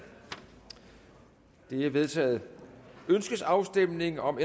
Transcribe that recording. det er vedtaget ønskes afstemning om